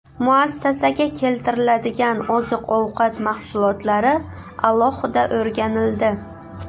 Muassasaga keltiriladigan oziq-ovqat mahsulotlari alohida o‘rganildi.